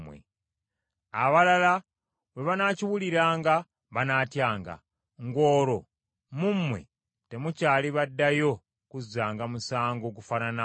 Abalala bwe banaakiwuliranga banaatyanga, ng’olwo mu mmwe temukyali baddayo kuzzanga musango gufaanana ng’ogwo.